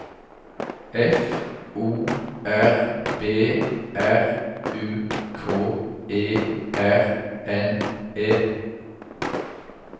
F O R B R U K E R N E